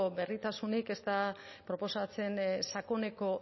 berritasunik ez da proposatzen sakoneko